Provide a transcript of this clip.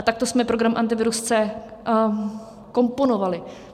A takto jsme program Antivirus C komponovali.